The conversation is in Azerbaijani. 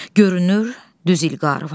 Görünür, düz İlqarı var.